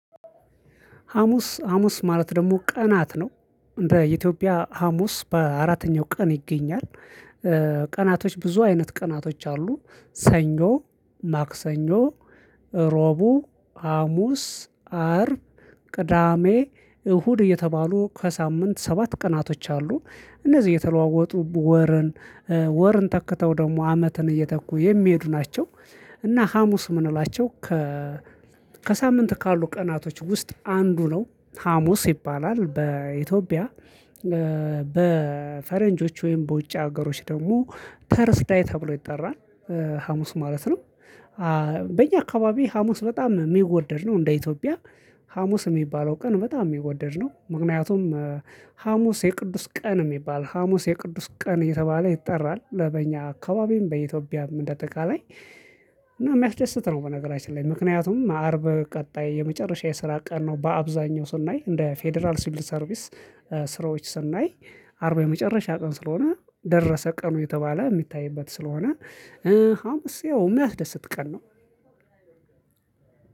ሀሙስ ሀሙስ ማለት ደግሞ ቀናት ነው በኢትዮጵያ ሀሙስ በአራተኛው ቀን ይገኛል። ቀናቶች ብዙ አይነት ቀናቶች አሉ። ሰኞ ማክሰኞ ዕሩብ ሀሙስ አርብ ቅዳሜ እሁድ እየተባሉ ከሳምንት ሰባት ቀናቶች አሉ። እነዚህ የተለዋወጡ ወርን ወርን ተክተው ደግሞ አመትን እየተኩ የሚሄዱ ናቸው። እና ሀሙስ የምንላቸው ከ ከሳምንት ካሉ ቀናቶች ውስጥ አንዱ ነው ሀሙስ ይባላል በኢትዮጵያ። በፈረንጆች ወይም በውጭ ሀገሮች ደግሞ ተርስዳይ ተብሎ ይጠራል። ሀሙስ ማለት ነው። በእኛ አካባቢ ሀሙስ በጣም የሚወደድ ነው እንደ ኢትዮጵያ ሀሙስ የሚባለው ቀን በጣም የሚወደድ ነው። ምክንያቱም ሀሙስ የቅዱስ ቀን የሚባል ሀሙስ የቅዱስ ቀን የተባለ ይጠራል በእኛ አካባቢም በኢትዮጵያም እንደ አጠቃላይ። እና የሚያስደስት ነው በነገራችን ላይ ምክንያቱም አርብ ቀጣይ የመጨረሻ የስራ ቀን ነው። በአብዛኛው ስናይ እንደ ፌደራል ሲበል ሰርቪስ ስራዎች ስናይ አርብ የመጨረሻ ቀን ስለሆነ ደረሰ ቀኑ እየተባለ የሚታይበት ስለሆነ። ሀሙስ አሁን ያው የሚያስደስት ቀን ነው።